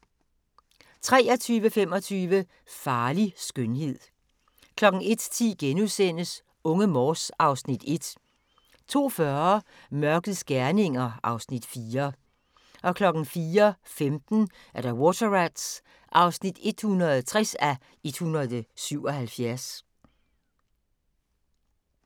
23:25: Farlig skønhed 01:10: Unge Morse (Afs. 1)* 02:40: Mørkets gerninger (Afs. 4) 04:15: Water Rats (160:177)